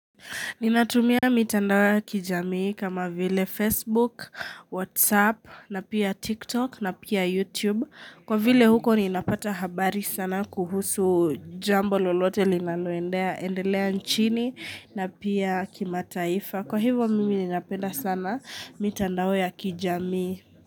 Ninatumia mitandao ya kijamii kama vile Facebook, WhatsApp na pia TikTok na pia YouTube. Kwa vile huko ninapata habari sana kuhusu jambo lolote linaloendea, endelea nchini na pia kimataifa. Kwa hivo mimi ninapenda sana mitandao ya kijamii.